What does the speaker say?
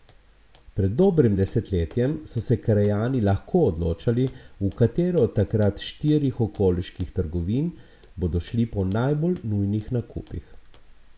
Pred dobrim desetletjem so se krajani lahko odločali, v katero od takrat štirih okoliških trgovin bodo šli po najbolj nujnih nakupih.